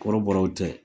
Kɔrɔbɔrɔw tɛ